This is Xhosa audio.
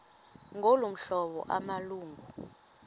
ngolu hlobo amalungu